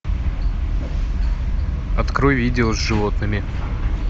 открой видео с животными